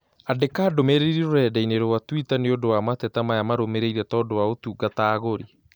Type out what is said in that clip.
Andĩka ndũmĩrĩri rũrenda-inī rũa tũita nīũndũ wa mateta maya marũmĩrĩire tondũ wa ũtungata agũri